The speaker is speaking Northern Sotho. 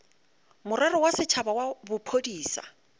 morero wa setšhaba wa bophodisa